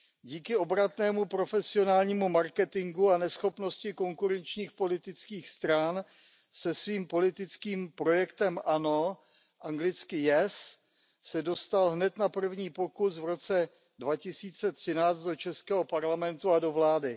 Díky obratnému profesionálnímu marketingu a neschopnosti konkurenčních politických stran se se svým politickým projektem ANO dostal hned na první pokus v roce 2013 do českého parlamentu a do vlády.